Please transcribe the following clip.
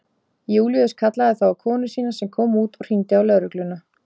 Júlíus kallaði þá á konu sína sem kom út og hringdi á lögregluna.